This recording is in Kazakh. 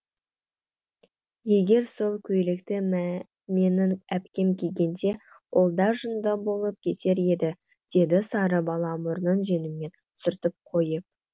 егер сол көйлекті менің әпкем кигенде ол да жынды болып кетер еді деді сары бала мұрнын жеңімен сүртіп қойып